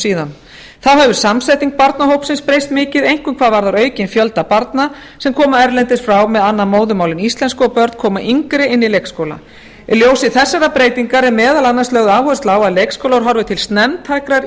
síðan þá hefur samþætting barnahópsins breyst mikið einkum hvað varðar aukinn fjölda barna sem koma erlendis frá með annað móðurmál en íslensku og börn koma yngri inn í leikskóla í ljósi þessarar breytingar er meðal annars lögð áhersla á að leikskólar horfi til snemmtækrar